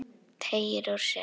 Teygir úr sér.